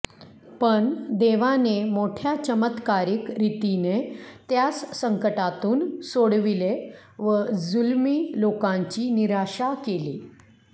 पण देवानें मोठ्या चमत्कारिक रीतीनें त्यास संकटांतून सोडविलें व जुलमी लोकांची निराशा केली